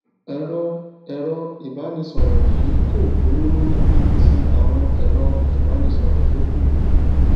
èrọ èrọ ìbánisòrò yìí kò gbówó lórí bíi ti àwọn èrọ ìbánisòròtó kù